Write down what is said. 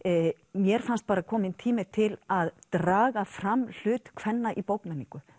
mér fannst bara kominn tími til að draga fram hlut kvenna í bókmenningu